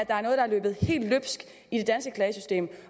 der er noget der er løbet helt løbsk i det danske klagesystem